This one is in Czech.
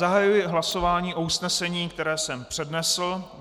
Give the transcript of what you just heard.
Zahajuji hlasování o usnesení, které jsem přednesl.